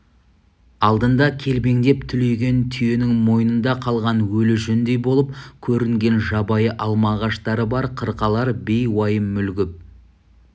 алдында көлбеңдеп түлеген түйенің мойнында қалған өлі жүндей болып көрінген жабайы алма ағаштары бар қырқалар бей уайым мүлгіп